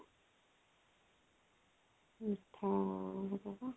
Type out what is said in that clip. ମିଠା